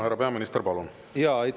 Härra peaminister, palun!